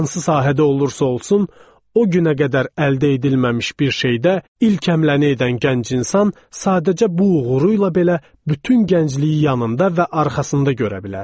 Hansı sahədə olursa olsun, o günə qədər əldə edilməmiş bir şeydə ilk həmləni edən gənc insan sadəcə bu uğuru ilə belə bütün gəncliyi yanında və arxasında görə bilər.